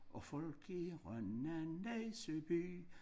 Og folk i Rønne og næste by